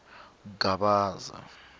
gavaza